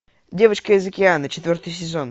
девочка из океана четвертый сезон